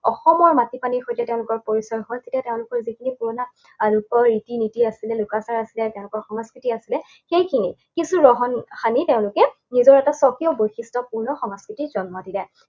অসমৰ মাটিকালিৰ সৈতে তেওঁলোকৰ পৰিচয় হল। তেতিয়া তেওঁলোকৰ যিখিনি পুৰণা তেওঁলোকৰ ৰীতি নীতি আছিলে, লোকাচাৰ আছিলে, তেওঁলোকৰ সংস্কৃতি আছিলে, সেইখিনিত কিছু ৰহণ সানি তেওঁলোকে নিজৰ এটা স্বকীয় বৈশিষ্ট্যপূৰ্ণ সংস্কৃতিৰ জন্ম দিলে।